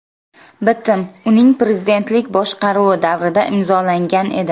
Bitim uning prezidentlik boshqaruvi davrida imzolangan edi.